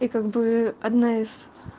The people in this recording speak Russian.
и как бы одна из